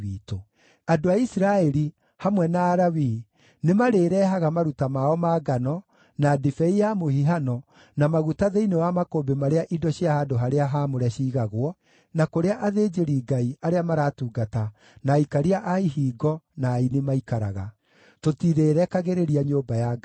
Andũ a Isiraeli, hamwe na Alawii, nĩmarĩĩrehaga maruta mao ma ngano, na ndibei ya mũhihano, na maguta thĩinĩ wa makũmbĩ marĩa indo cia handũ-harĩa-haamũre ciigagwo, na kũrĩa athĩnjĩri-Ngai, arĩa maratungata, na aikaria a ihingo, na aini maikaraga. “Tũtirĩrekagĩrĩria nyũmba ya Ngai witũ.”